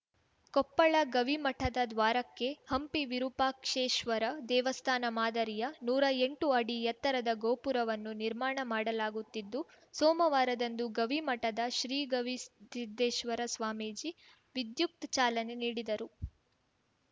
ಕೊಪ್ಪಳ ಗವಿಮಠದ ದ್ವಾರಕ್ಕೆ ಹಂಪಿ ವಿರೂಪಾಕ್ಷೇಶ್ವರ ದೇವಸ್ಥಾನ ಮಾದರಿಯ ನೂರಾ ಎಂಟು ಅಡಿ ಎತ್ತರದ ಗೋಪುರವನ್ನು ನಿರ್ಮಾಣ ಮಾಡಲಾಗುತ್ತಿದ್ದು ಸೋಮವಾರದಂದು ಗವಿ ಮಠದ ಶ್ರೀ ಗವಿಸಿದ್ಧೇಶ್ವರ ಸ್ವಾಮೀಜಿ ವಿಧ್ಯುಕ್ತ ಚಾಲನೆ ನೀಡಿದರು